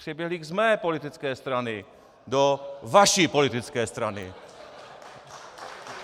Přeběhlík z mé politické strany do vaší politické strany.